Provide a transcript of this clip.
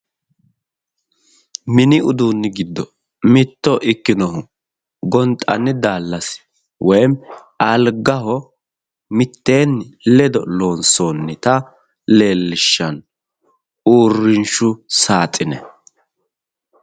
Mini uduunni giddo mitto ikkinohu gonxanni daallasi woyim mitteeenni ledo loonsoonnita uurrinshshu saaxine.